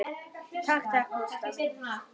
Takk takk, Gústa mín.